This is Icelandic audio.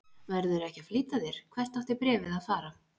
Verðurðu ekki að flýta þér. hvert átti bréfið að fara?